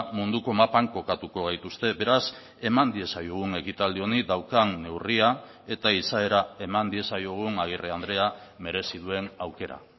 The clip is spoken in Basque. munduko mapan kokatuko gaituzte beraz eman diezaiogun ekitaldi honi daukan neurria eta izaera eman diezaiogun agirre andrea merezi duen aukera